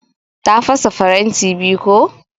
Ta fasa faranti biyu ko.